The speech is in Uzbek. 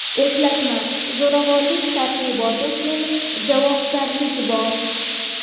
Eslatma: Zo‘ravonlik targ‘iboti uchun javobgarlik bor.